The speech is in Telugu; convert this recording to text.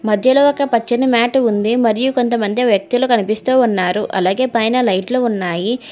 మధ్యలో ఒక పచ్చని మ్యాటు ఉంది మరియు కొంతమంది వ్యక్తులు కనిపిస్తూ ఉన్నారు అలాగే పైన లైట్లు ఉన్నాయి.